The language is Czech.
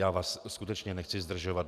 Já vás skutečně nechci zdržovat.